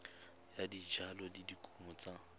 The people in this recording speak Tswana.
ya dijalo le dikumo tsa